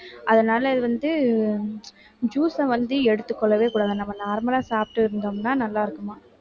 அதனால இது வந்து juice அ வந்து எடுத்துக்கொள்ளவே கூடாது நம்ம normal ஆ சாப்பிட்டு இருந்தோம்னா நல்லா இருக்குமா